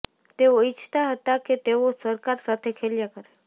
તેઓ ઈચ્છતા હતાં કે તેઓ સરકાર સાથે ખેલ્યા કરે